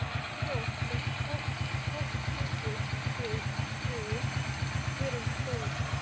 Fólk er tortryggið hér um slóðir